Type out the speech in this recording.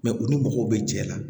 u ni mɔgɔw bɛ jɛ la